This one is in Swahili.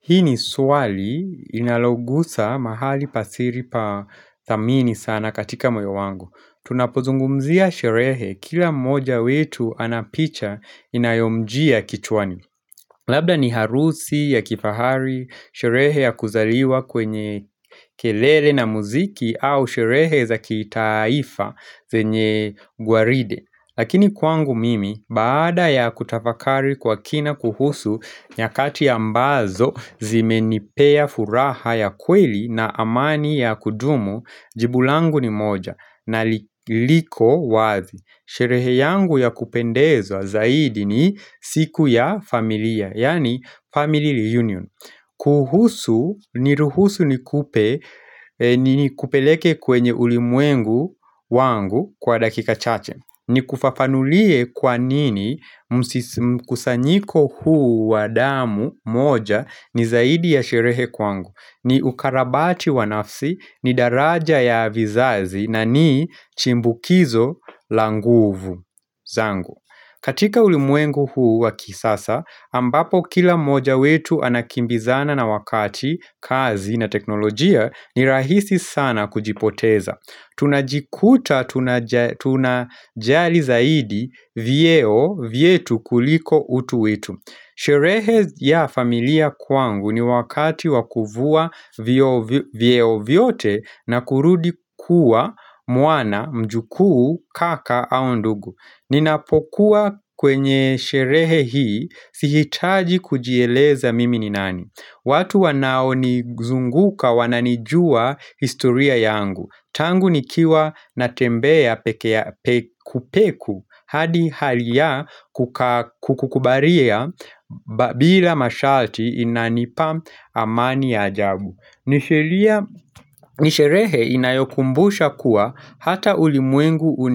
Hii ni swali inalogusa mahali pasiri pa thamini sana katika moyo wangu. Tunapozungumzia sherehe kila mmoja wetu anapicha inayomjia kichwani. Labda ni harusi ya kifahari, sherehe ya kuzaliwa kwenye kelele na muziki au sherehe za kitaifa zenye gwaride. Lakini kwangu mimi baada ya kutafakari kwa kina kuhusu nyakati ambazo zime nipea furaha ya kweli na amani ya kudumu Jibulangu ni moja na liko wazi Sherehe yangu ya kupendeza zaidi ni siku ya familia Yani family reunion kuhusu, niruhusu ni kupe ni kupeleke kwenye ulimwengu wangu kwa dakika chache ni kufafanulie kwanini kusanyiko huu wa damu moja ni zaidi ya sherehe kwangu ni ukarabati wanafsi, ni daraja ya vizazi na ni chimbukizo languvu zangu katika ulimwengu huu wa kisasa, ambapo kila mmoja wetu anakimbizana na wakati, kazi na teknolojia ni rahisi sana kujipoteza Tunajikuta tunajali zaidi vyeo vyetu kuliko utuwetu Sherehe ya familia kwangu ni wakati wakuvua vyeo vyote na kurudi kuwa mwana mjukuu kaka au ndugu Ninapokuwa kwenye sherehe hii sihitaji kujieleza mimi ni nani watu wanao ni zunguka wananijua historia yangu Tangu nikiwa natembea kupeku hadi halia kukubaria bila mashalti inanipa amani ajabu Nisherehe inayokumbusha kuwa hata ulimwengu